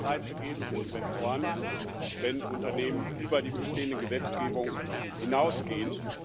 Es muss Anreize geben für Investoren, wenn Unternehmen über die bestehende Gesetzgebung hinausgehen.